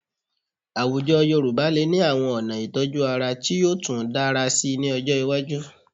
Àwùjọ Yorùbá lè ní àwọn ọ̀nà ìtọ́jú ara tí yóò tú dára síi ní ọjọ́ iwájú